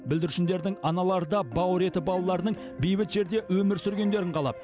бүлдіршіндердің аналары да бауыр еті балаларының бейбіт жерде өмір сүргендерін қалап